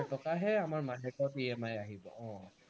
টকাহে আমাৰ মাহেকত EMI আহিব, অ